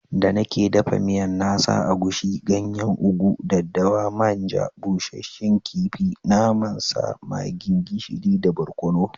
Da nake dafa miyan na sa agushi, ganyen ugu, daddawa, man ja, bushsshen kifi, naman sa, maggi, gishiri da barkonu.